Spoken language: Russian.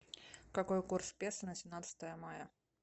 какой курс песо на семнадцатое мая